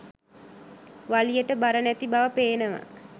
වලියට බර නැති බව පේනවා.